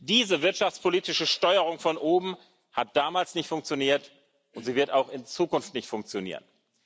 Diese wirtschaftspolitische Steuerung von oben hat damals nicht funktioniert, und sie wird auch in Zukunft nicht funktionieren.